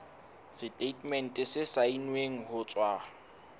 setatemente se saennweng ho tswa